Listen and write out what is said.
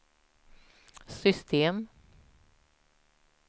system